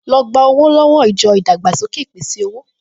Lọ gba owó lọ́wọ́ ìjọ ìdàgbàsókè ìpèsè-owó!